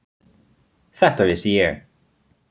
Þetta vissi ég.